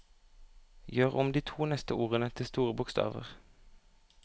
Gjør om de to neste ordene til store bokstaver